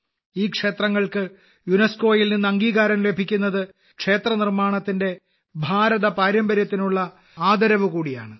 ഈ ക്ഷേത്രങ്ങൾക്ക് യുനെസ്കോയിൽ നിന്ന് അംഗീകാരം ലഭിക്കുന്നത് ക്ഷേത്രനിർമാണത്തിന്റെ ഭാരത പാരമ്പര്യത്തിനുള്ള ആദരവ് കൂടിയാണ്